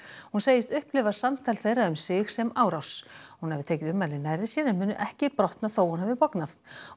hún segist upplifa samtal þeirra um sig sem árás hún hafi tekið ummælin nærri sér en muni ekki brotna þótt hún hafi bognað